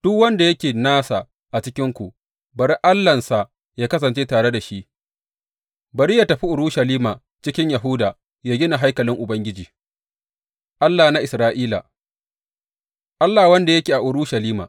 Duk wanda yake nasa a cikinku bari Allahnsa yă kasance tare da shi, bari yă tafi Urushalima cikin Yahuda yă gina haikalin Ubangiji, Allah na Isra’ila, Allah wanda yake a Urushalima.